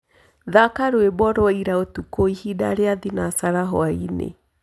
thaka rwĩmbo rwaĩraũtũkũĩhĩnda rĩa thĩnacara hwaĩnĩ